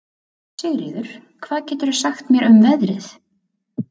Sigríður, hvað geturðu sagt mér um veðrið?